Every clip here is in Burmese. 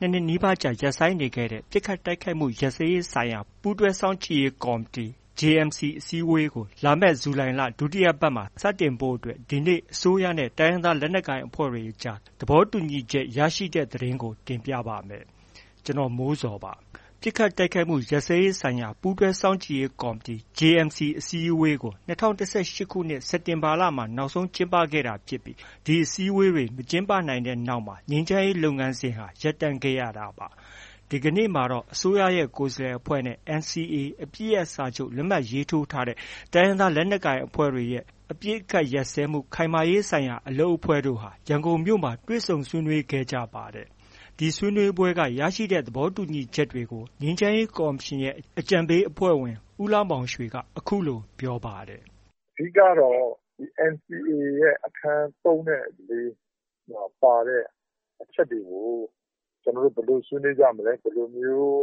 နှစ် နှစ်နီးပါးကြား ရပ်ဆိုင်းနေခဲ့တဲ့ ပစ်ခတ်တိုက်ခိုက်မှု ရပ်စဲရေးဆိုင်ရာ ပူးတွဲစောင့်ကြည့်ရေး ကော်မတီအစည်းအဝေး JMC ကို လာမယ့် ဇူလိုင်လ ဒုတိယပတ်မှာ စတင်ဖို့အတွက် ဒီနေ့ အစိုးရနဲ့ တိုင်းရင်းသားလက်နက်ကိုင်တွေအကြား သဘောတူညီချက် ရရှိတဲ့ သတင်းကို တင်ပြပါမယ်။ ဗွီအိုအေမြန်မာပိုင်းသတင်းထောက် ကိုမိုးဇော်က တင်ပြပေးပါမယ်။ ပစ်ခတ်တိုက်ခိုက်မှု ရပ်စဲရေးဆိုင်ရာ ပူးတွဲစောင့်ကြည့်ရေး ကော်မတီအစည်းအဝေး JMC အစည်းအဝေးကို ၂၀၁၈ ခုနှစ် စက်တင်လမှာ နောက်ဆုံးကျင်းပခဲ့တာဖြစ်ပြီး ဒီအစည်းအဝေးတွေ မကျင်းပနိုင်ခဲ့တဲ့နောက်မှာ ငြိမ်းချမ်းရေးလုပ်ငန်းစဉ်ဟာ ရပ်တန့်ခဲ့ရတာပါ။ ဒီကနေ့မှာတော့ အစိုးရရဲ့ ကိုယ်စားလှယ်အဖွဲ့နဲ့ NCA အပစ်ရပ်စာချုပ်လက်မှတ်ရေးထိုးထားတဲ့ တိုင်းရင်းသား လက်နက်ကိုင်အဖွဲ့တွေရဲ့ အပစ်အခတ်ရပ်စဲမှု ခိုင်မာရေးဆိုင်ရာ အလုပ်အဖွဲ့တို့ ရန်ကုန်မြို့မှာ တွေ့ဆုံဆွေးနွေးခဲ့ကြပြီး ရရှိတဲ့ သဘောတူညီချက်တွေကို ငြိမ်းချမ်းရေးကော်မရှင်ရဲ့ အကြံပေးအဖွဲ့ဝင် ဦးလှမောင်ရွှေက ပြောပါတယ်။ “အဓိကကတော့ NCA ရဲ့ အခန်း ၃ နဲ့ ၄မှာ ပါတဲ့ အချက်တွေကို ဘယ်လိုဆွေးနွေးကြမလဲ၊ ဘယ်လိုမျိုး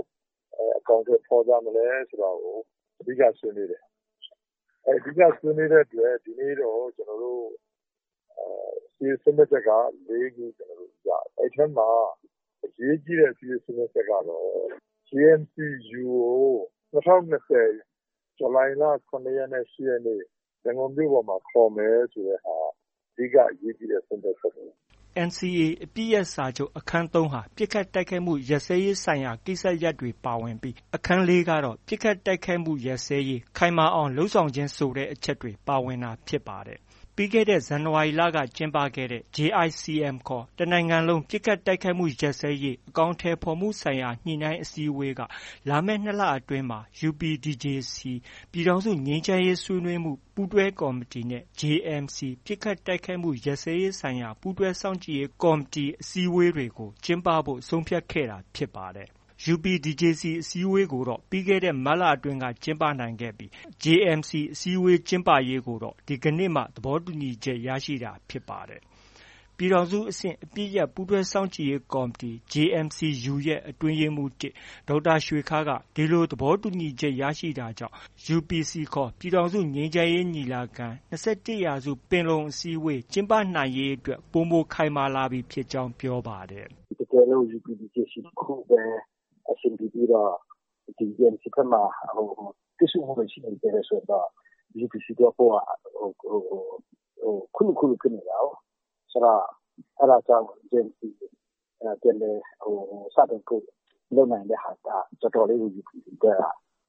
အကောင်အထည်ဖော်ကြမလဲဆိုတာကို အဓိက ဆွေးနွေးတယ်။ အဓိက ဆွေးနွေးတဲ့အတွက်ကြောင့် ဒီနေ့က အစည်းအဝေး ဆုံးဖြတ်ချက် ၄ ခုရတယ်။ ဒီထဲမှာ အရေးကြီးတဲ့ အစည်းအဝေးဆုံးဖြတ်ချက်ကတော့ JMC_ U ၂၀၂၀ ဇူလိုင်လ ၇ ရက်နဲ့ ၈ရက်နေ့မှာ ရန်ကုန်မြို့ပေါ်မှာ ခေါ်မယ်ဆိုတဲ့ဟာ အဓိက အရေးကြီးတဲ့ ဆုံးဖြတ်ချက်ပဲ။” NCA အပစ်ရပ်စာချုပ် အခန်း ၃ ဟာ ပစ်ခတ်တိုက်ခိုက်မှု ရပ်စဲရေးဆိုင်ရာ ကိစ္စရပ်တွေ ပါဝင်ပြီး အခန်း ၄ ကတော့ ပစ်ခတ်တိုက်ခိုက်မှု ခိုင်မာအောင်လုပ်ဆောင်ခြင်းဆိုတဲ့အချက်တွေ ပါဝင်တာဖြစ်ပါတယ်။ ပြီးခဲ့တဲ့ ဇန်နဝါရီလက ကျင်းပခဲ့တဲ့ JICM ခေါ် တစ်နိုင်ငံလုံး ပစ်ခိုက်တိုက်ခိုက်မှုရပ်စဲရေး အကောင်အထည်ဖော်မှုဆိုင်ရာ ညှိနှိုင်းအစည်းအဝေးက လာမယ့် ၂ လအတွင်းမှာ UPDJC ပြည်ထောင်စုငြိမ်းချမ်းရေးဆွေးနွေးမှု ပူးတွဲကော်မတီနဲ့ JMC ပစ်ခတ်တိုက်ခိုက်မှုရပ်စဲရေးဆိုင်ရာ ပူးတွဲစောင့်ကြည့်ရေးကော်မတီ အစည်းအဝေးတွေ ကျင်းပဖို့ ဆုံးဖြတ်ခဲ့တာဖြစ်ပါတယ်။ UPDJC အစည်းအဝေးကိုတော့ ပြီးခဲ့တဲ့ မတ်အတွင်းက ကျင်းပနိုင်ခဲ့ပြီး JMC အစည်းအဝေးကျင်းပရေးကိုတော့ ဒီကနေ့မှာ သဘောတူညီချက် ရခဲ့တာဖြစ်ပါတယ်။ ပြည်ထောင်စုအဆင့် အပစ်ရပ်ပူးတွဲစောင့်ကြည့်ရေးကော်မတီ JMC- U ရဲ့ အတွင်းရေးမှူး ၁ ဒေါက်တာ ရွှေခါးကဒီလိုသဘောတူညီနိုင်ခဲ့တာကြောင့် ပြည်ထောင်စု ငြိမ်းချမ်းရေးညီလာခံ UPC - ၂၁ရာစု ပင်လုံအစည်းအဝေး ကျင်းပနိုင်ရေးအတွက် ပိုမို ခိုင်မာလာပြီဖြစ်ကြောင်း ပြောပါတယ်။ “တကယ်လို့ UPDJC တစ်ခုပဲ အဆင်ပြေပြီးတော့ JMC ဘက်မှာ တစ်ဆို့မှုတွေ ရှိနေမယ်ဆိုရင်တော့ UPC သွားဖို့က ခိုးလိုးခုလု ဖြစ်နေတာကိုး။ ဆိုတော့ အဲဒါကြောင့် JMC ပြန်လည်စတင်ဖို့ လုပ်နိုင်တဲ့ဟာက တော်တော်လေးကို UPC အတွက်က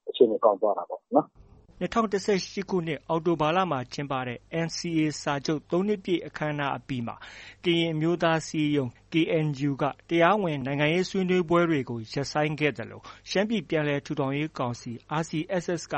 အခြေအနေ ကောင်းသွားတာပေါ့နော်။” ၂၀၁၈ ခုနှစ် အောက်တိုဘာလမှာ ကျင်းပတဲ့ NCA စာချုပ် ၃ နှစ်ပြည့်အခမ်းအနား အပြီးမှာ ကရင်အမျိုးသားအစည်းအရုံး KNU က တရားဝင်နိုင်ငံရေးဆွေးနွေးပွဲတွေကို ရပ်ဆိုင်းခဲ့သလို ရှမ်းပြည်ပြန်လည်ထူထောင်ရေးကောင်စီ RCSS က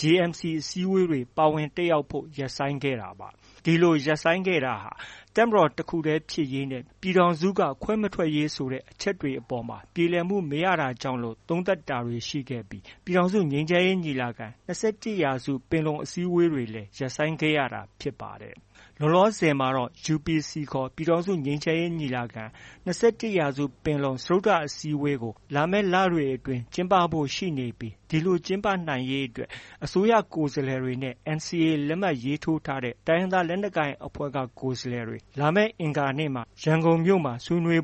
JMC အစည်းအဝေးတွေ ပါဝင်တက်ရောက်ဖို့ ရပ်ဆိုင်းခဲ့ပါတယ်။ ဒီလို ရပ်ဆိုင်းခဲ့တာဟာ တပ်မတော်တစ်ခုတည်း ဖြစ်ရေးနဲ့ ပြည်ထောင်စုက ခွဲမထွက်ရေးဆိုတဲ့ အချက်တွေအပေါ်မှာပြေလည်မှု မရတာကြောင့်လို့ သုံးသပ်တာတွေ ရှိခဲ့ပြီး ပြည်ထောင်စုငြိမ်းချမ်းရေးညီလာခံ- ၂၁ ရာစု ပင်လုံအစည်းအဝေးတွေလည်း ရပ်ဆိုင်းခဲ့ရတာဖြစ်ပါတယ်။ လောလောဆယ်မှာတော့ UPC ခေါ် ပြည်ထောင်စုငြိမ်းချမ်းရေးညီလာခံ- ၂၁ ရာစု ပင်လုံ စတုတ္တအစည်းအဝေးကို လာမယ့်လတွေအတွင်း ကျင်းပဖို့ ရှိနေပြီး ဒီလို ကျင်းပနိုင်ဖို့အတွက် အစိုးရကိုယ်စားလှယ်အဖွဲ့နဲ့ NCA လက်မှတ်ထိုး တိုင်းရင်းသားလက်နက်ကိုင် ကိုယ်စားလှယ်အဖွဲ့တွေ အင်္ဂါနေ့မှာ ရန်ကုန်မှာ ဆွေးနွေး